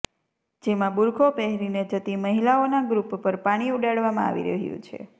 જેમાં બુરખો પહેરીને જતી મહીલાઓના ગ્રૂપ પર પાણી ઉડાડવામાં આવી રહ્યું છે